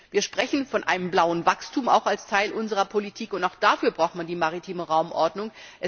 Wir sprechen auch von einem blauen Wachstum als Teil unserer Politik, und auch dafür braucht man die maritime Raumordnung.